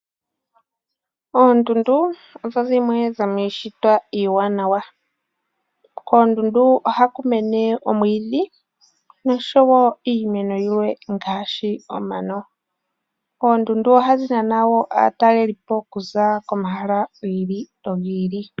Oondundu odho dhimwe dhomiishitwa iiwanawa. Kondundu ohaku mene omwiidhi nosho woo iimeno yilwe ngaashi oomano. Oondundu ohadhi nana woo aataleli po okuza komahala gili no gili.